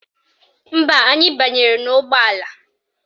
Mba, anyị banyere n'ụgbọala